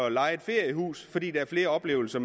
at leje et feriehus fordi der er flere oplevelser